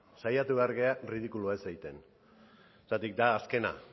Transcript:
saiatu behar gara ridikulua ez egiten zergatik da azkena